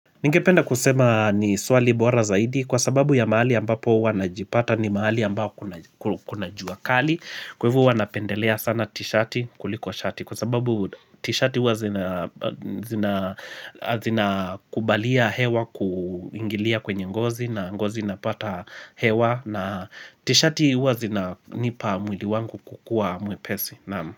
Ningependa kusema ni swali bwara zaidi kwa sababu ya maali ambapo wanajipata ni maali ambapo. Kuna juakali Kwevu wanapendelea sana t-shati kulikuwa shati kwa sababu t-shati uwa zina kubalia hewa kuingilia kwenye ngozi na ngozi napata hewa na t-shati uwa zina nipa mwili wangu kukua mwepesi naamu.